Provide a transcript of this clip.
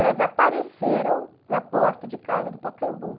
Elas apareceram na porta de casa do Pacaembu.